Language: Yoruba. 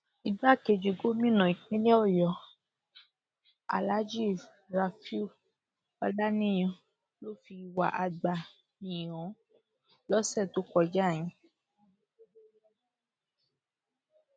igbákejì gòmìnà ìpínlẹ ọyọ aláàjì rauf ọlàníyàn ló fi ìwà àgbà yìí hàn lọsẹ tó kọjá yìí